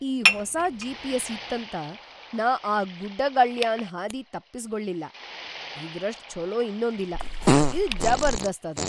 ಈ ಹೊಸಾ ಜಿ.ಪಿ.ಎಸ್.‌ ಇತ್ತಂತ ನಾ ಆ ಗುಡ್ಡಾಗಳ್ಯಾನ್‌ ಹಾದಿ ತಪ್ಪಸ್ಗೊಳ್ಳಿಲ್ಲಾ, ಇದರಷ್ಟ್ ಛೊಲೋ ಇನ್ನೊಂದಿಲ್ಲಾ. ಇದ್‌ ಜಬರ್ದಸ್ತ್ ಅದ!